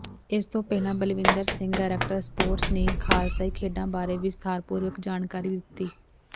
ਇਸ ਤੋਂ ਪਹਿਲਾ ਬਲਵਿੰਦਰ ਸਿੰਘ ਡਾਇਰੈਕਟਰ ਸਪੋਰਟਸ ਨੇ ਖ਼ਾਲਸਾਈ ਖੇਡਾਂ ਬਾਰੇ ਵਿਸਥਾਰਪੂਰਵਕ ਜਾਣਕਾਰੀ ਦਿੱਤੀ